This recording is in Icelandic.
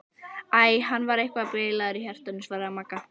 Æ, hann var eitthvað bilaður í hjartanu svaraði Magga.